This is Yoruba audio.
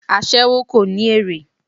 Aséwó kò ní èrè.